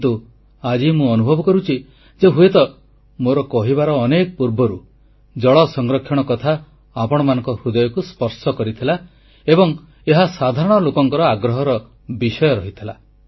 କିନ୍ତୁ ଆଜି ମୁଁ ଅନୁଭବ କରୁଛି ଯେ ହୁଏତ ମୋର କହିବାର ଅନେକ ପୂର୍ବରୁ ଜଳ ସଂରକ୍ଷଣ କଥା ଆପଣମାନଙ୍କ ହୃଦୟକୁ ସ୍ପର୍ଶ କରିଥିଲା ଏବଂ ଏହା ସାଧାରଣ ଲୋକଙ୍କର ଆଗ୍ରହର ବିଷୟ ଥିଲା